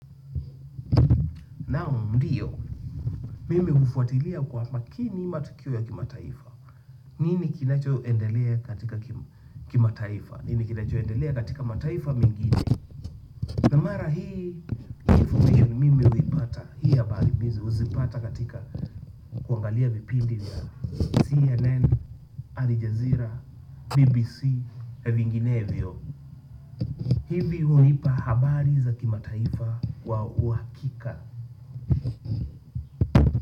Naaam ndio mimi ufuatilia kwa makini matukio ya kimataifa. Nini kinacho endelea katika kimataifa. Nini kinacho endelea katika mataifa mengine na mara hii hii information mimi huipatahii hii habari huzipata katika kuangalia vipindi na CNN, Arijazira, BBC, vingine vio. Hivi hunipa habari za kimataifa kwa uhakika.